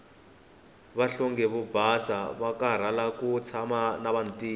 vanhlonge yo basa avakarhala ku tshama na vantima